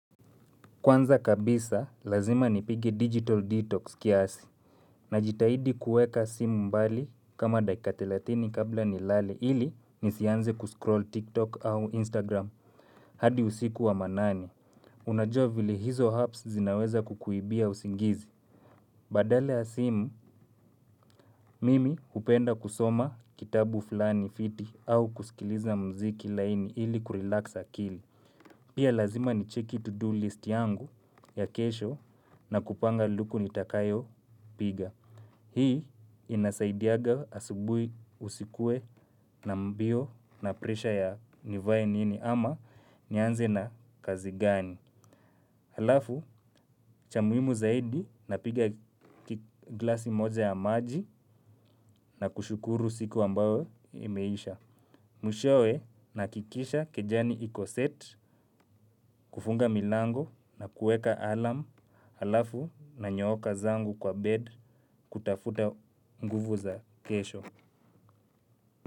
Kwanza kabisa, lazima nipige Digital Detox kiasi, najitahidi kuweka simu mbali kama dakika thelathini kabla nilale ili nisianze kuscroll TikTok au Instagram. Hadi usiku wa manane. Unajua vile hizo apps zinaweza kukuibia usingizi. Badala ya simu, mimi hupenda kusoma kitabu fulani fiti au kusikiliza mziki laini ili kurelax akili. Pia lazima ni cheki to do list yangu ya kesho na kupanga luku nitakayo piga. Hii inasaidianga asubuhi usikuwe na mbio na presha ya nivae nini ama nianze na kazi gani. Halafu, cha muhimu zaidi na piga glasi moza ya maji na kushukuru siku ambayo imeisha. Mwishowe nahakikisha kejani iko set kufunga milango na kueka alarm alafu nanyooka zangu kwa bed kutafuta nguvu za kesho.